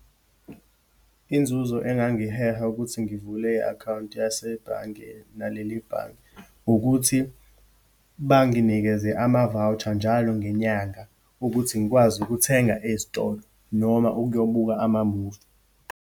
Inzuzo engangiheha ukuthi ngivule i-akhawunti yasebhange, naleli bhange, ukuthi banginikeze ama-voucher njalo ngenyanga ukuthi ngikwazi ukuthenga ezitolo, noma ukuyobuka amamuvi.